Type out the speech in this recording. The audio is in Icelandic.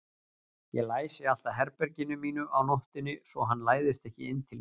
Ég læsi alltaf herberginu mínu á nóttunni svo hann læðist ekki inn til mín.